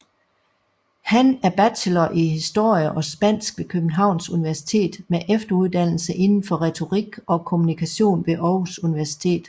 Han er bachelor i historie og spansk ved Københavns Universitet med efteruddannelse inden for retorik og kommunikation ved Aarhus Universitet